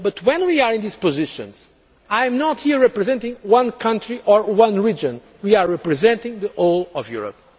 So, when we are in these positions, I am not here representing one country or one region we are representing the whole of Europe.